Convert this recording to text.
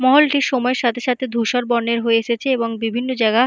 মহলটি সময়ের সাথে সাথে ধূসর বর্ণের হয়ে এসেছে এবং বিভিন্ন জায়গা--